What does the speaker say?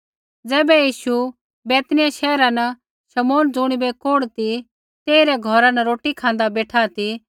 ज़ैबै यीशु बैतनिय्याह शैहरा न शमौन ज़ुणिबै कोढ़ ती तेइरै घौरा न रोटी खाँदा बेठा ती